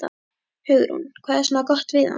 Hugrún: Hvað er svona gott við hana?